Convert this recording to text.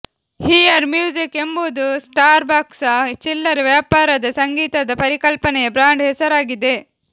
here Music ಎಂಬುದು ಸ್ಟಾರ್ಬಕ್ಸ್ನ ಚಿಲ್ಲರೆ ವ್ಯಾಪಾರದ ಸಂಗೀತದ ಪರಿಕಲ್ಪನೆಯ ಬ್ರಾಂಡ್ ಹೆಸರಾಗಿದೆ